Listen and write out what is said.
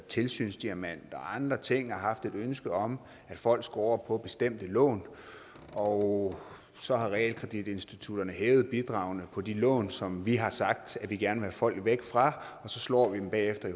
tilsynsdiamanter og andre ting og haft et ønske om at folk skulle over på bestemte lån og så har realkreditinstitutterne hævet bidragene på de lån som vi har sagt at vi gerne ville have folk væk fra og så slår vi dem bagefter